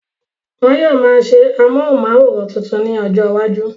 Wọn yóò máa ṣe amóhùnmáwòrán tuntun ní ọjọ iwájú